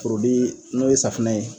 Porodi n'o ye safunɛ ye